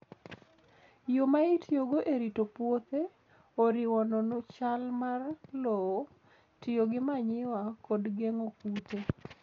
Yo ma itiyogo e rito puothe oriwo nono chal mar lowo, tiyo gi manyiwa, kod geng'o kute.